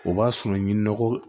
O b'a sɔrɔ ɲi nɔgɔ